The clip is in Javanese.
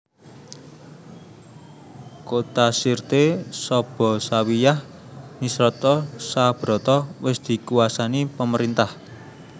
Kota Sirte Sabha Zawiyah Misrata Sabrata wis dikuwasani pemerintah